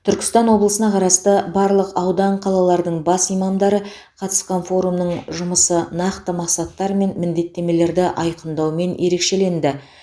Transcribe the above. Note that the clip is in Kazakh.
түркістан облысына қарасты барлық аудан қалалардың бас имамдары қатысқан форумның жұмысы нақты мақсаттар мен міндеттемелерді айқындаумен ерекшеленді